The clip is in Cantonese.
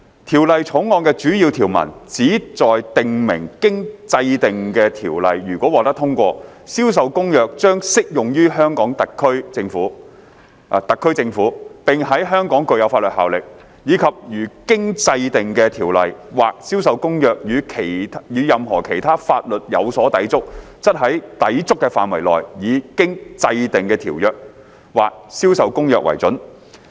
《條例草案》的主要條文，旨在訂明經制定的條例如果獲得通過，《銷售公約》將適用於特區政府；並在香港具有法律效力；以及如經制定的條例或《銷售公約》與任何其他法律有所抵觸，則在抵觸的範圍內，以經制定的條例或《銷售公約》為準。